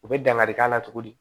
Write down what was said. U bɛ dankari k'a la cogo di